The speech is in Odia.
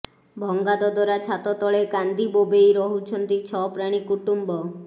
ଭଙ୍ଗା ଦଦରା ଛାତ ତଳେ କାନ୍ଦିବୋବାଇ ରହୁଛନ୍ତି ଛଅ ପ୍ରାଣୀ କୁଟୁମ୍ବ